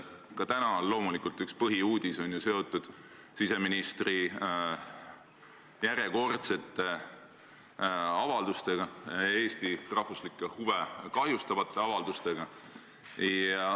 Ka täna on loomulikult üks põhiuudis seotud siseministri järjekordsete avaldustega, Eesti rahvuslikke huve kahjustavate avaldustega.